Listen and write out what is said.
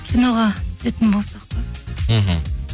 киноға түсетін болсақ па мхм